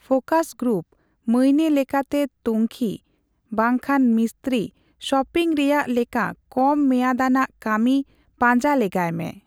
Focus group, ᱢᱟᱹᱭᱱᱟᱹ ᱞᱮᱠᱟᱛᱮ ᱛᱩᱝᱠᱷᱤ, ᱵᱟᱝᱠᱷᱟᱱ ᱢᱤᱥᱛᱨᱤ ᱥᱚᱯᱤᱝ ᱨᱮᱭᱟᱜ ᱞᱮᱠᱟ ᱠᱚᱢᱼᱢᱮᱭᱟᱫ ᱟᱱᱟᱜ ᱠᱟᱹᱢᱤ ᱯᱟᱡᱟᱸᱞᱮᱜᱟᱭ ᱢᱮ ᱾